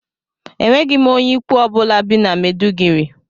Enweghị m onye ikwu ọ bụla bi na Mèduguri